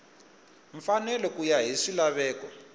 mfanelo ku ya hi swilaveko